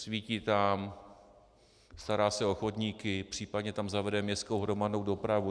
Svítí tam, stará se o chodníky, případně tam zavede městskou hromadnou dopravu.